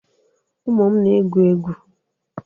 Ụmụ m na-egwu egwu.